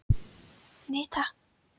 Nei takk.